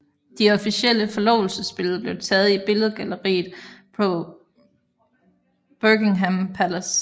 De officielle forlovelsesbilleder blev taget i billedgalleriet på Buckingham Palace